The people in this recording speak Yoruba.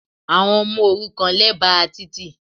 Àwọn ọmọ òrukàn lẹ́bàá títì